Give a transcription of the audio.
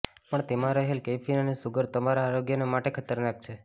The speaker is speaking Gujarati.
પણ તેમા રહેલ કૈફીન અને શુગર તમારા આરોગ્યને માટે ખતરનાક છે